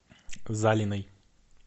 залиной